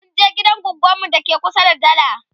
munje gidan goggon mu dake kusa da dala